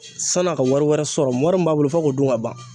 san'a ka wari wɛrɛ sɔrɔ wɔri min b'a bolo f'a k'o dun ka ban.